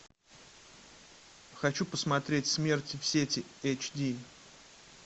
хочу посмотреть смерть в сети эйчди